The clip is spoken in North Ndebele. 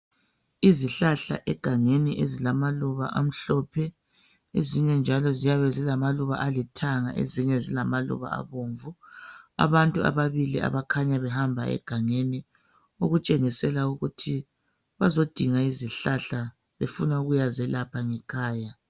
Izihlahla egangeni ezilamaluba amhlophe , eminye njalo ziyabe ezilamaluba alithanga , ezinye ezilamaluba abomvu , abantu ababili abakhanya behamba egangeni okutshengisela ukuthi bazodinga izihlahla befuna ukuyazelapha ngekhaya